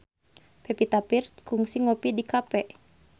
Pevita Pearce kungsi ngopi di cafe